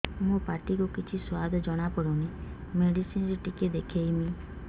ମୋ ପାଟି କୁ କିଛି ସୁଆଦ ଜଣାପଡ଼ୁନି ମେଡିସିନ ରେ ଟିକେ ଦେଖେଇମି